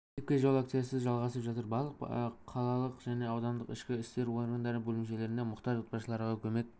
мектепке жол акциясы жалғасып жатыр барлық қалалық және аудандық ішкі істер органдары бөлімшелерінде мұқтаж отбасыларға көмек